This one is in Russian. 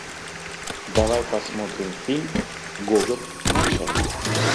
давай посмотрим фильм гоголь начало